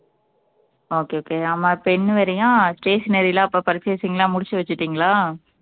okay okay ஆமா pen வேறையா stationery ல அப்ப purchasing எல்லாம் முடிச்சு வச்சுட்டீங்களா